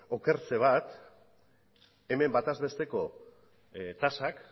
hemen batez besteko tasak